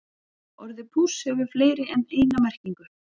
Orðið púss hefur fleiri en eina merkingu.